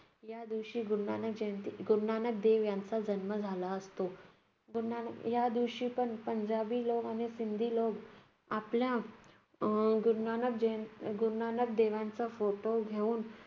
या दिवशी गुरू नानक जयंती गुरू नानक देव यांचा जन्म झाला असतो. गुरू नानक या दिवशी पंजाबी लोक आणि सिंधी लोक आपला अं गुरू नानक गुरू नानक देवांचा फोटो घेऊन,